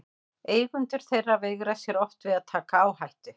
Eigendur þeirra veigra sér oft við að taka áhættu.